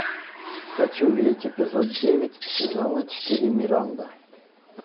хочу видеть эпизод девять сезона четыре миранда